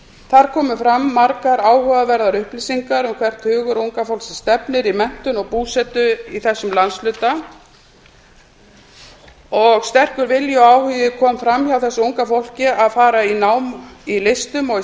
þar komu fram margar áhugaverðar upplýsingar um hvert hugur unga fólksins stefnir í menntun og búsetu í þessum landshluta og sterkur vilji og áhugi kom fram hjá þessu unga fólki að fara í nám í listum og í